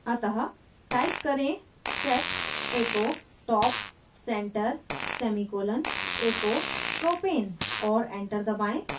अतः type करें set echo echo top center semicolon echo propane